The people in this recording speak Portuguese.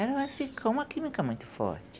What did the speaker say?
ela vai ficar uma química muito forte.